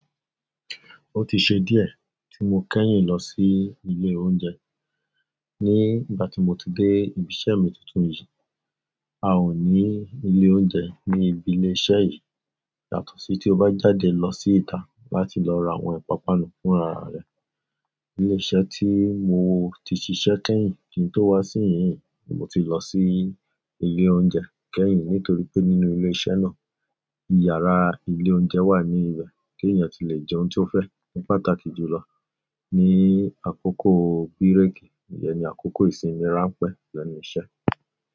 Ó ti ṣe díẹ̀ tí mo kẹ́yìn lọ sí ilé oúnjẹ. Ní ìgbà tí mo ti dé ibi iṣẹ́ mi tuntun yìí, a ò ní ilé oúnjẹ ní ibi ilé iṣẹ́ yìí. Yàtọ̀ sí tí o bá jáde lọ sí ìta láti lọ ra àwọn ìpápánu fún arà rẹ. Ilé iṣẹ́ tí mo ti ṣiṣẹ́ kẹ́yìn kí n tó wá sí ìyín ìí ni mo ti lọ sí ilé oúnjẹ kẹ́yìn nítorí pé nínú ilé iṣẹ́ náà, yàraa ilé oúnjẹ wà ní ibẹ̀ téèyàn tilè jẹun tí ó fẹ́. Ní pàtàkì jù lọ ní àkókò bírèèkì, ìyẹn ní àkókò ìsinmi rá ń pẹ́ lẹ́nu iṣẹ́.